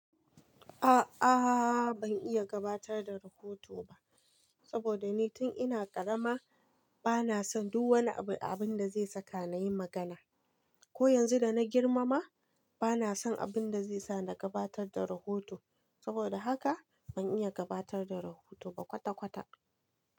A'aa, ban iya gabatar da rahoto ba saboda ni tun ina karama bana son duk wani abin da zai saka na yi magana. Ko yanzu da na girma ma bana son abin da zai sa na gabatar da rahoto. Saboda haka ban iya gabatar da rahoto ba kwata-kwata.